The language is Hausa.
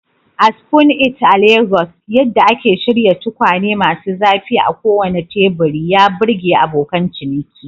A Spoon It a Legas, yadda ake shirya tukwane masu zafi a kowane teburi ya burge abokan ciniki.